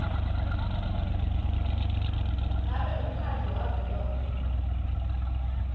ngabe umkhandlu wavelonkhe